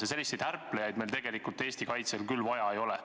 Ja selliseid ärplejaid meil tegelikult Eesti kaitsel vaja ei ole.